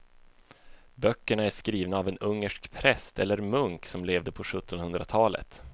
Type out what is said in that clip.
Böckerna är skrivna av en ungersk präst eller munk som levde på sjuttonhundratalet.